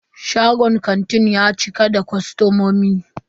Shagon kantin ya cika da kostomomi.